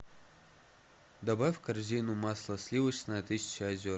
добавь в корзину масло сливочное тысяча озер